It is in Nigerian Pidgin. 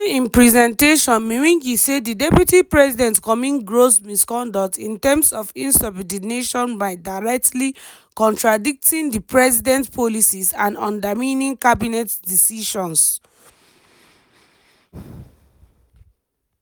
during im presentation mwengi say di deputy president commit gross misconduct in terms of insubordination by directly contradicting di president policies and undermining cabinet decisions.